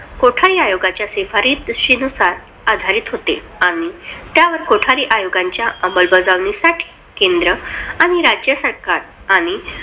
कोठारी आयोगाच्या शिफारशींनुसार आधारित होते आणि त्यात कोठारी आयोगाच्या अंमलबजावणीसाठी केंद्र आणि राज्य सरकार आणि